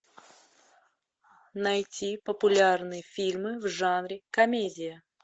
найти популярные фильмы в жанре комедия